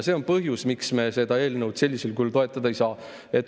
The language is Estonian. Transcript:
See on põhjus, miks me seda eelnõu sellisel kujul toetada ei saa.